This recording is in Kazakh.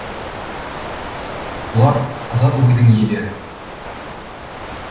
бұлар азат ойдың иелері